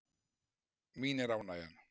Mín er ánægjan.